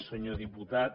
senyor diputat